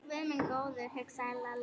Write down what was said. Guð minn góður, hugsaði Lalli.